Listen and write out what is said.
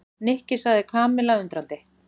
Nikki sagði Kamilla undrandi.